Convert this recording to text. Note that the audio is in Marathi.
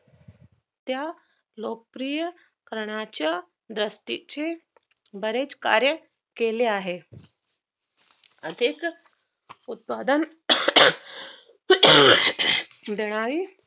त्या लोकप्रिय करण्याच्या रस्त्याचे बरेच कार्य केले आहे असेच उत्पादन सुधारणारी